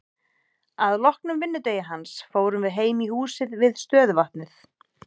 Að loknum vinnudegi hans fórum við heim í húsið við stöðuvatnið.